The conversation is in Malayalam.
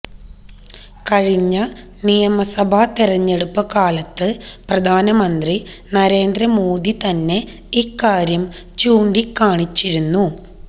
കഴിഞ്ഞ നിയമസഭാ തെരഞ്ഞെടുപ്പുകാലത്ത് പ്രധാനമന്ത്രി നരേന്ദ്രമോദി തന്നെ ഇക്കാര്യം ചൂണ്ടിക്കാണിച്ചിരുന്നു